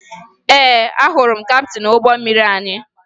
Ee, ahụrụ m kaptịn ụgbọ mmiri anyị